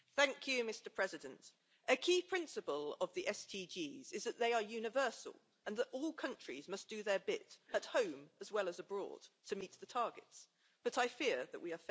Mr President, a key principle of the SDGs is that they are universal and that all countries must do their bit, at home as well as abroad, to meet the targets, but I fear that we are failing.